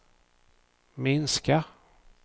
minska